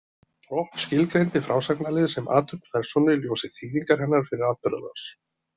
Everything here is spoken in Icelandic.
Propp skilgreindi frásagnarlið sem athöfn persónu í ljósi þýðingar hennar fyrir atburðarás.